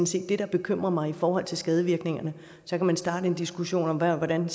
set det der bekymrer mig i forhold til skadevirkningerne så kan man starte en diskussion om hvordan